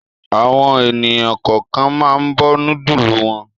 Àwọn ènìyàn kọ̀ọ̀kan máa ń bọ núdúlù wọn.